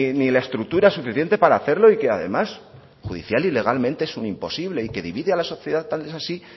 ni la estructura suficiente para hacerlo y que además judicial y legalmente es un imposible y que divide a la sociedad tal es así